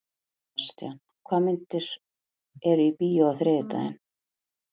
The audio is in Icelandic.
Sebastian, hvaða myndir eru í bíó á þriðjudaginn?